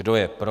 Kdo je pro?